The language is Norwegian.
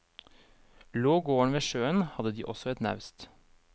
Lå gården ved sjøen, hadde de også et naust.